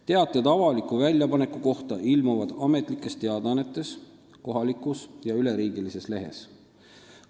Teated avaliku väljapaneku kohta ilmuvad Ametlikes Teadaannetes ning kohalikus ja üleriigilises lehes.